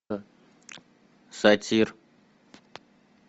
сатир